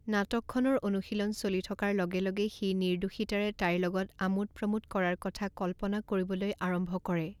নাটকখনৰ অনুশীলন চলি থকাৰ লগে লগে সি নিৰ্দোষিতাৰে তাইৰ লগত আমোদ প্ৰমোদ কৰাৰ কথা কল্পনা কৰিবলৈ আৰম্ভ কৰে।